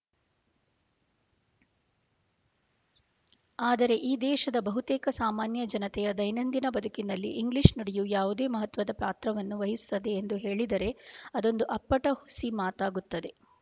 ಆದರೆ ಈ ದೇಶದ ಬಹುತೇಕ ಸಾಮಾನ್ಯ ಜನತೆಯ ದೈನಂದಿನ ಬದುಕಿನಲ್ಲಿ ಇಂಗ್ಲೀಷು ನುಡಿಯು ಯಾವುದೇ ಮಹತ್ವದ ಪಾತ್ರವನ್ನು ವಹಿಸುತ್ತದೆ ಎಂದು ಹೇಳಿದರೆ ಅದೊಂದು ಅಪ್ಪಟ ಹುಸಿ ಮಾತಾಗುತ್ತದೆ